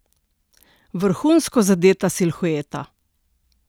Vrhunsko zadeta silhueta.